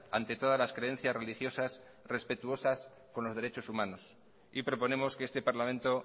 ante todas las creencias religiosas respetuosas con los derechos humanos y proponemos que este parlamento